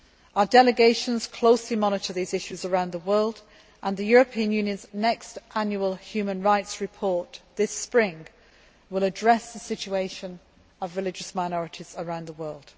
Our delegations closely monitor these issues around the world, and the European Union's next annual human rights report this spring will address the situation of religious minorities around the world.